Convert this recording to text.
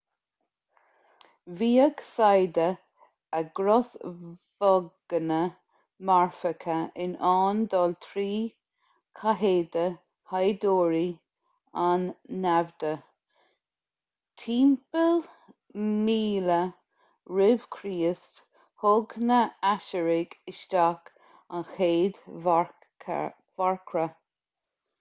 bhíodh saigheada a gcrosbhoghanna marfacha in ann dul trí chathéide shaighdiúrí an naimhde timpeall 1000 r.c. thug na haisiriaigh isteach an chéad mharcra